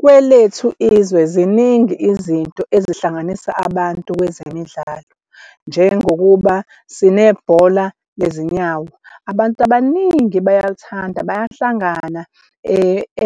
Kwelethu izwe ziningi izinto ezihlanganisa abantu kwezemidlalo njengokuba sinebhola lezinyawo. Abantu abaningi bayalithanda, bayahlangana